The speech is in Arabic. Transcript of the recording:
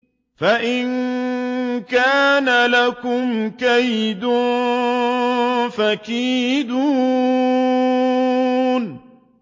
فَإِن كَانَ لَكُمْ كَيْدٌ فَكِيدُونِ